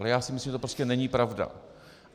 Ale já si myslím, že to prostě není pravda.